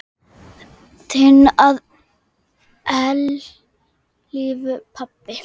Við snúum okkur að öðru.